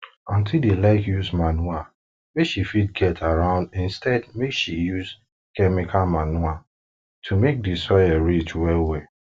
aunty dey like use manure wey she fit get around instead make she use chemical manure to make di soil rich well well